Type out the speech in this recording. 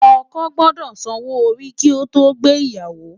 Òkò gbòdò sànwó óri ki ó to gbé iyàwó